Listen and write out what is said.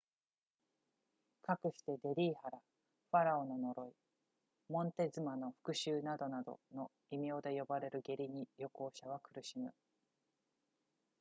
かくしてデリー腹ファラオの呪いモンテズマの復讐などなどの異名で呼ばれる下痢に旅行者は苦しむ